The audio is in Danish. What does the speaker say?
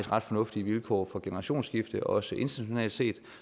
ret fornuftige vilkår for generationsskifte også internationalt set